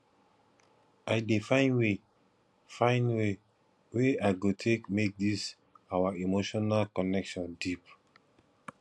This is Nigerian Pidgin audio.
i dey find way find way wey i go take make dis our emotional connection deep